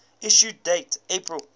issue date april